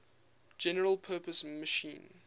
general purpose machine